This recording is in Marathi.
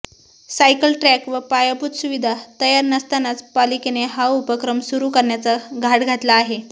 सायकल ट्रॅक व पायाभूत सुविधा तयार नसतानाच पालिकेने हा उपक्रम सुरु करण्याचा घाट घातला आहे